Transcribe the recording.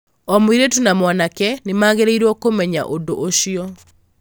O mũirĩtu na mwanake nĩ magĩrĩirũo kũmenya ũndũ ũcio.